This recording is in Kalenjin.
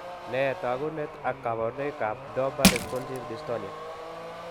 Ne takuunet ak Kabarunaik ab Dopa responsive dystonia?